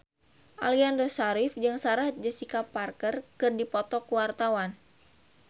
Aliando Syarif jeung Sarah Jessica Parker keur dipoto ku wartawan